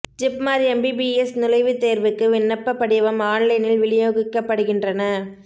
JIPMER MBBS நுழைவுத்தேர்வுக்கு விண்ணப்ப படிவம் ஆன்லைனில் விநியோகிக்கப்படுகின்றன